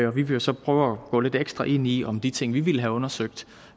og vi vil så prøve at gå lidt ekstra ind i om de ting vi ville have undersøgt